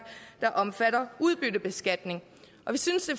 der omfatter udbyttebeskatning vi synes